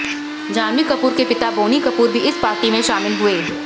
जाह्नवी कपूर के पिता बोनी कपूर भी इस पार्टी में शामिल हुए